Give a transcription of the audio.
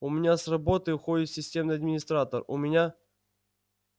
у меня с работы уходит системный администратор у меня